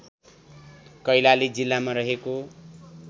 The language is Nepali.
कैलाली जिल्लामा रहेको